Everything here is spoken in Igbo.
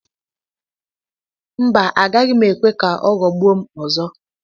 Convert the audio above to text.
Mba! Agaghị m ekwe ka ọ ghọgbuo m ọzọ.